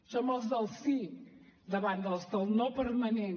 som els del sí davant els del no permanent